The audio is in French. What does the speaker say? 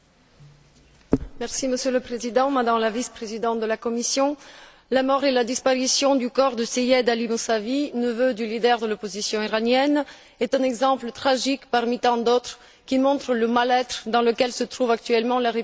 Monsieur le Président, Madame la Vice présidente de la Commission, la mort et la disparition du corps de Seyyed Ali Moussavi, neveu du leader de l'opposition iranienne, est un exemple tragique parmi tant d'autres qui montrent le mal être dans lequel se trouve actuellement la République islamique d'Iran.